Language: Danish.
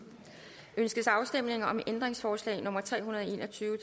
ønskes afstemning om ændringsforslag nummer tre hundrede og en og tyve